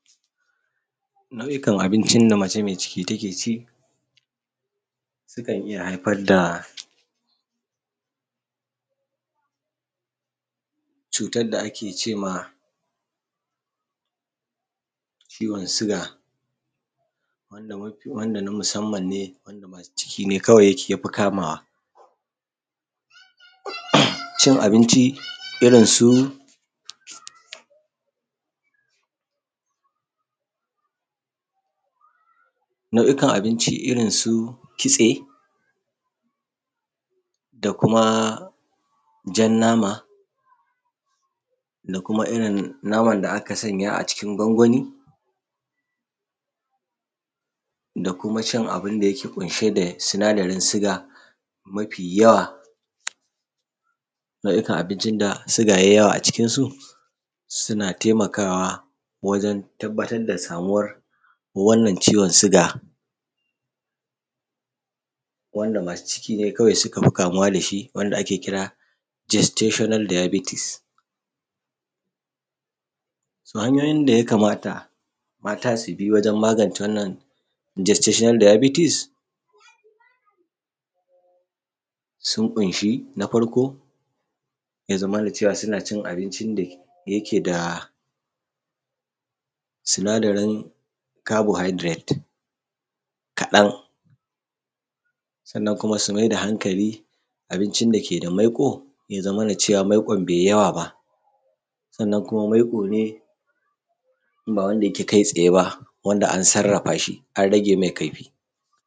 Mafi kam abincin da mace mai ciki ta ke ci sukan iya haifar da cutar da ake cema ciwon suga, wanda na musamman ne wanda masu ciki suke ya fi kamawa, cin abinci irinsu nau’ikan abinci irin su kitse da kuma jan nama da kuma irin naman da aka sanya a cikin gwangwani da kuma cin abun da yake ƙunshe da sinadarin sugar, mafi yawa nau’iakn abincin da suga ya yi yawa ajikinsu suna taimakawa wajen tabbatar da samuwan wannan ciwon sugar wanda masu ciki ne kawai suka fi kamuwa da shi wanda ake kira gestational diabetes. To, hanyoyin da ya kamata mata su bi wajen magance wannan gestational diabetes sun ƙunshi na farko ya zamana cewa suna cin abincin da yake da sinadarin carbohydrates kaɗan sannan kuma su mai da hankali abincin da ke da maiko ya zamana cewa maikon bai yawa ba, sannan kuma maiƙo ne ba wanda yake kai tsaye ba wanda an sarrafa shi an rage mai kaifi.